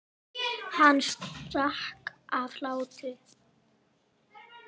Hann sprakk af hlátri.